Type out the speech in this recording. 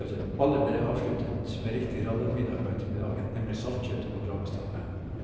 Ballet ble avsluttet med riktig rallarmiddag på ettermiddagen, nemlig saltkjøtt og kålrabistappe.